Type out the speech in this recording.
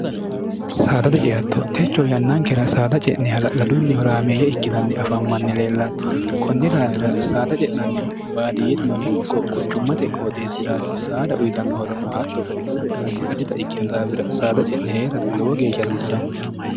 saadate ceatto techo yannankira saada ce'nehala'ladunnihoraameeyya ikkinanni afammanni leellanno kunni daafira saada ce'nannihu baadiyyetino ikko quchummate qooxeesi'raati saada uyitannohorono hatto giddore addi adhita ikkinu daawira saada ce'ne hee'ra lowo geeshsha hasiissanno